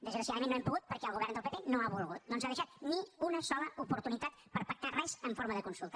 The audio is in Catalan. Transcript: desgraciadament no hem pogut perquè el govern del pp no ha volgut no ens ha deixat ni una sola oportunitat per pactar res en forma de consulta